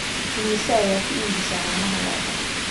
imise ayaa ku iibisaa caanaha lo'da